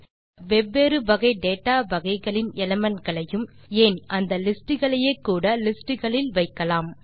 இப்படியாக வெவ்வேறு வகை டேட்டா வகைகளின் எலிமெண்ட் களையும் ஏன் அந்த லிஸ்ட் களையே கூட லிஸ்ட் களில் வைக்கலாம்